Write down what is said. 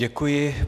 Děkuji.